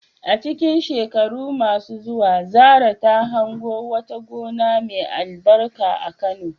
A cikin shekaru masu zuwa, Zarah ta hango wata gona mai albarka a Kano.